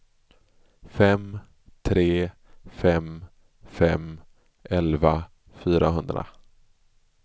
fem tre fem fem elva fyrahundra